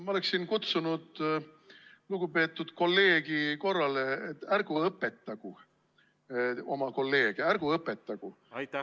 Ma oleksin kutsunud lugupeetud kolleegi korrale: ärgu õpetagu oma kolleege, ärgu õpetagu!